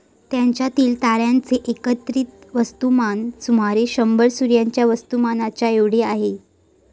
त्यांच्यातील ताऱ्यांचे एकत्रित वस्तुमान सुमारे शंभर सूर्याच्या वस्तुमानाच्या एवढी आहे